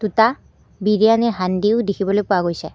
দুটা বিৰিয়ানি দেখিবলৈ পোৱা গৈছে।